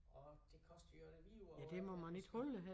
Og det koster jo det vide ud af øjnene det skidt